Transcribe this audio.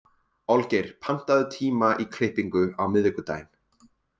Olgeir, pantaðu tíma í klippingu á miðvikudaginn.